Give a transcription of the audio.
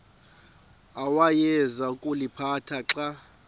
awayeza kuliphatha xa